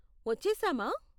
వచ్చేసామా?